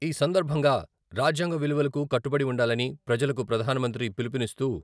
ఈ సందర్భంగా రాజ్యాంగ విలువలకు కట్టుబడి ఉండాలని ప్రజలకు ప్రధాన మంత్రి పిలుపునిస్తూ...